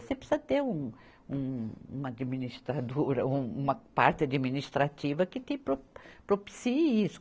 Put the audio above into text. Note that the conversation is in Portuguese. Você precisa ter um, um, uma administradora, um, uma parte administrativa que te pro, propicie isso.